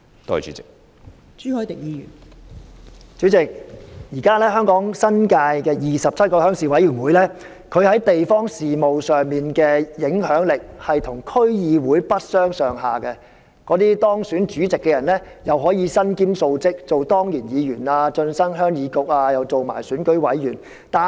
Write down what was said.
代理主席，現時香港新界27個鄉事會在地方事務上的影響力跟區議會不相上下，當選主席的人可以身兼數職，既可當上鄉議局的當然議員，又可以成為選舉委員。